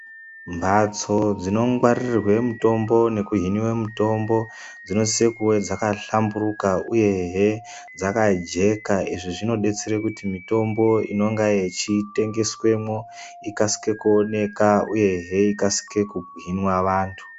Mhatso dzinongwaririwe mutombo nekuhinive mutombo dzinosise kuve dzakahlamburuka, uyehe dzakajeka. Izvi zvinobetsere kuti mitombo inenge yechitengeswemwo ikasike kuoneka uyehe ikasike kuhinwa vantu.